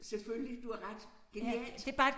Selvfølgelig du har ret. Genialt